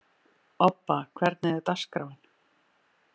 Obba, hvernig er dagskráin?